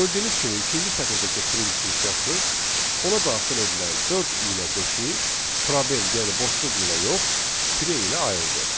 Gördüyünüz kimi ikinci sətirdəki print funksiyası ona daxil edilən dörd ilə beşi probel, yəni boşluq ilə yox, tre ilə ayırdı.